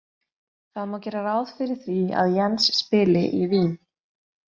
Það má gera ráð fyrir því að Jens spili í Vín.